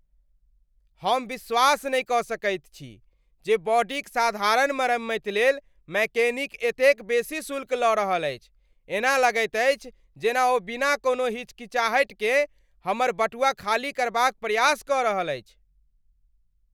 हम विश्वास नहि कऽ सकैत छी जे बॉडीक साधारण मरम्मति लेल मैकेनिक एतेक बेसी शुल्क लऽ रहल अछि! एना लगैत अछि जेना ओ बिना कोनो हिचकिचाहटिकेँ हमर बटुआ खाली करबाक प्रयास कऽ रहल अछि।